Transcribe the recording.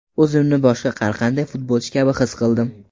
O‘zimni boshqa har qanday futbolchi kabi his qildim.